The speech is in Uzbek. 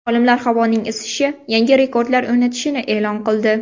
Olimlar havoning isishi yangi rekordlar o‘rnatishini e’lon qildi.